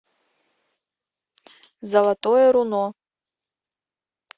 золотое руно